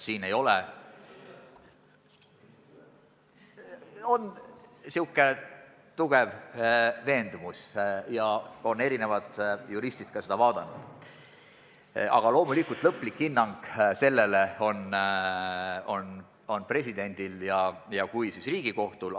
No meil on selline tugev veendumus ja ka erinevad juristid on selle eelnõu üle vaadanud, aga loomulikult annab lõpliku hinnangu president ja vajaduse korral Riigikohus.